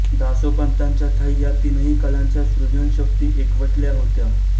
दासोपंतांच्या ठायी या तीनही कलांच्या सृजनशक्ती एकवटल्या होत्या